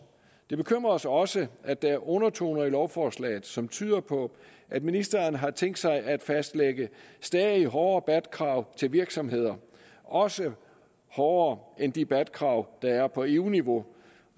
det bekymrer os også at der er undertoner i lovforslaget som tyder på at ministeren har tænkt sig at fastlægge stadig hårdere bat krav til virksomheder også hårdere end de bat krav der er på eu niveau